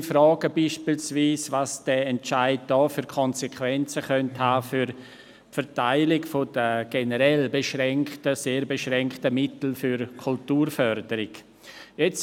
Offene Fragen wie zum Beispiel, welche Konsequenzen dieser Entscheid für die Verteilung der generell sehr beschränkten Mittel für die Kulturförderung haben könnte.